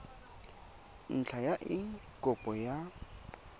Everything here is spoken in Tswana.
ntlha ya eng kopo ya